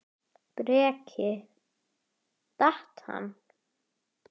Breki: Datt hann?